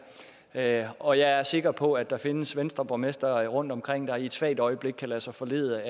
her og jeg er sikker på at der findes venstreborgmestre rundtomkring der i et svagt øjeblik kan lade sig forlede